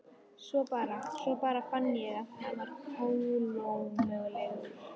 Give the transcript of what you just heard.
Svo bara. svo bara fann ég að ég var kolómögulegur.